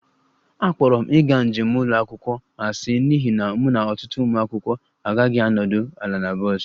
Akpọrọ m ịga njem ụlọ akwụkwọ asị n'ihi na mụ na ọtụtụ ụmụ akwụkwọ aghaghị ịnọdụ ala na bọs